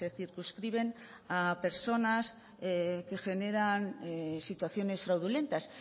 circunscriben a personas que generan situaciones fraudulentas